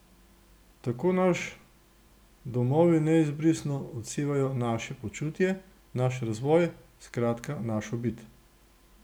Tako naš domovi neizbrisno odsevajo naše počutje, naš razvoj, skratka, našo bit.